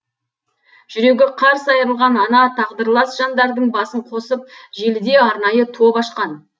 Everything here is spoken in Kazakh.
жүрегі қарс айырылған ана тағдырлас жандардың басын қосып желіде арнайы топ ашқан